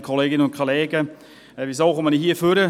Weshalb trete ich ans Rednerpult?